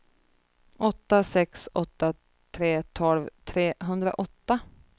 åtta sex åtta tre tolv trehundraåtta